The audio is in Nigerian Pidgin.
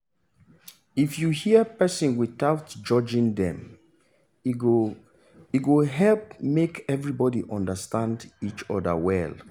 if you hear person without judging dem e go e go help make everybody understand each other well